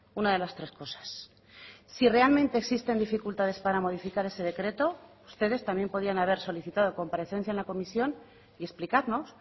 una de las tres cosas si realmente existen dificultades para modificar ese decreto ustedes también podían haber solicitado comparecencia en la comisión y explicarnos